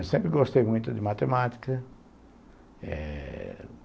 Eu sempre gostei muito de matemática, eh...